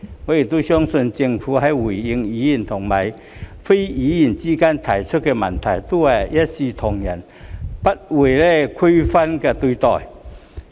我亦相信政府在回應委員與非委員的提問時，均會一視同仁，不會區分對待。